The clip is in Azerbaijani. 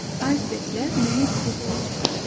Aysberqlər nəhəng buz parçalarıdır.